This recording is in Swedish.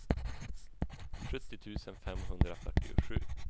sjuttio tusen femhundrafyrtiosju